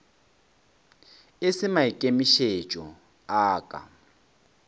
e se maikemišetšo a ka